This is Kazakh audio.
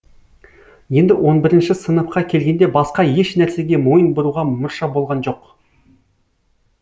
енді он бірінші сыныпқа келгенде басқа еш нәрсеге мойын бұруға мұрша болған жоқ